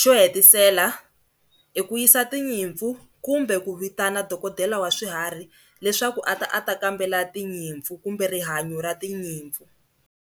xo hetisela i ku yisa tinyimpfu kumbe ku vitana dokodela wa swiharhi leswaku a ta ata kambela tinyimpfu kumbe rihanyo ra tinyimpfu.